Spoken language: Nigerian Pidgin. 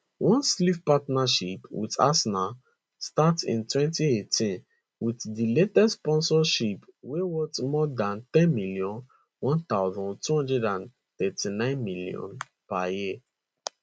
one sleeve partnership wit arsenal start in 2018 wit di latest sponsorship wey worth more dan 10m 1239 million per year